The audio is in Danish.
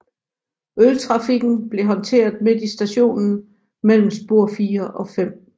Øltrafikken blev håndteret midt i stationen mellem spor 4 og 5